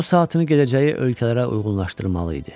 O saatını gedəcəyi ölkələrə uyğunlaşdırmalı idi.